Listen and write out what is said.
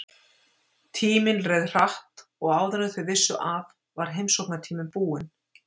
Tíminn leið hratt og áður en þau vissu af var heimsóknartíminn búinn.